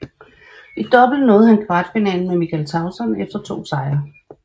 I double nåede han kvartfinalen med Michael Tauson efter to sejre